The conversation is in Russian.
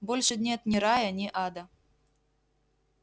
больше нет ни рая ни ада